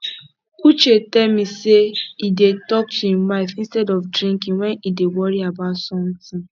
uche tell me say he dey talk to im wife instead of drinking wen he dey worry about something